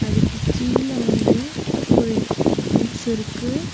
அதுக்கு கீழ வந்து ஒரு ஹவுஸ் இருக்கு.